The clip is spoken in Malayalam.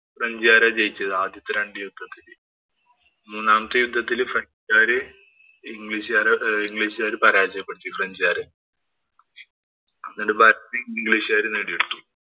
ഫ്രഞ്ചുകാരാ ജയിച്ചത്. ആദ്യത്തെ രണ്ടു യുദ്ധത്തിലും. മൂന്നാമത്തെ യുദ്ധത്തില് ഫ്രഞ്ചുകാര് ഇംഗ്ലീഷുകാര് പരാജയപ്പെടുത്തി ഫ്രഞ്ചുകാരെ. അങ്ങനെ factory ഇംഗ്ലിഷുകാര് നേടിയെടുത്തു.